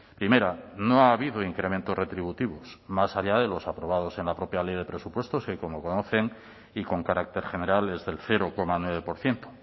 primera no ha habido incrementos retributivos más allá de los aprobados en la propia ley de presupuestos que como conocen y con carácter general es del cero coma nueve por ciento